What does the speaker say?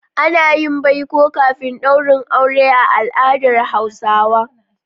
Ana yin baiko kafin daurin aure a al'adar Hausawa.